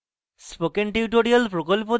spoken tutorial প্রকল্প the